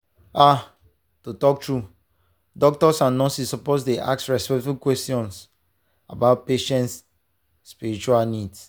ah to talk true doctors and nurses suppose dey ask respectful questions about patient spiritual needs.